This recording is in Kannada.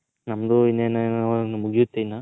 ನಮ್ಮದು ಇನೇನ್ ಮುಗಿಯತೆ ಇನ್ನ.